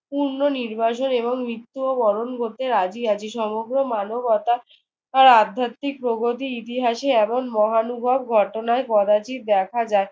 পূর্ণনির্বাসন এবং মৃত্যুও বরণ করতে রাজি আছি। সমগ্র মানবতা তার আধ্যাত্মিক প্রগতি ইতিহাসে এমন মহানুভব ঘটনায় কদাচিৎ দেখা যায়।